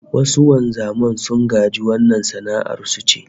Wasu wanzaman sun gaji wannan sana'ar su ce